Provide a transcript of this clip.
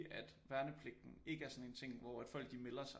At værnepligten ikke er sådan en ting hvor folk de melder sig